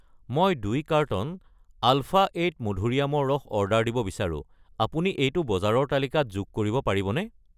মই 2 carton alpha eight মধুৰীআমৰ ৰস অৰ্ডাৰ দিব বিচাৰো, আপুনি এইটো বজাৰৰ তালিকাত যোগ কৰিব পাৰিবনে?